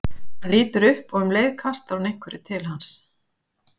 Hann lítur upp og um leið kastar hún einhverju til hans.